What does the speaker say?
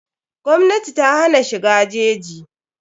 Gwmnati ta hana shiga jeji.